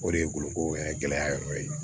O de ye boloko yɛrɛ gɛlɛya yɔrɔ ye